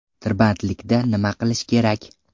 Tirbandlikda nima qilish kerak?